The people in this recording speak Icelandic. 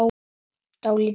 Dálítið villt!